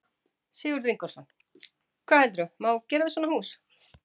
Sigurður Ingólfsson: Hvað heldurðu má gera við svona hús?